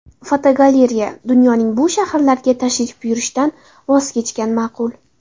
Fotogalereya: Dunyoning bu shaharlariga tashrif buyurishdan voz kechgan ma’qul .